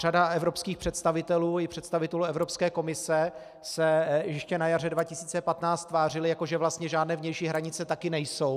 Řada evropských představitelů i představitelů Evropské komise se ještě na jaře 2015 tvářila, jako že vlastně žádné vnější hranice taky nejsou.